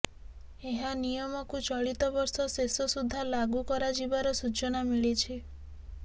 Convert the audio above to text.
ଏହା ନିୟମକୁ ଚଳିତ ବର୍ଷ ଶେଷ ସୁଧା ଲାଗୁ କରାଯିବାର ସୂଚନା ମିଳିଛି